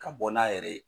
Ka bɔ n'a yɛrɛ ye